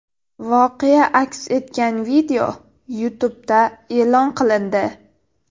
Voqea aks etgan video YouTube’da e’lon qilindi .